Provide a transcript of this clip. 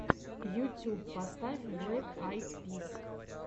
ютюб поставь блэк айд пис